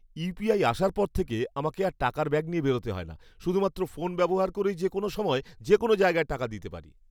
UPI আসার পর থেকে আমাকে আর টাকার ব্যাগ নিয়ে বেরোতে হয় না। শুধুমাত্র ফোন ব্যবহার করেই যে কোনও সময় যে কোনও জায়গায় টাকা দিতে পারি।